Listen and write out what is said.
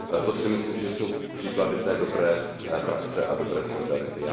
To si myslím, že jsou příklady té dobré praxe a dobré solidarity.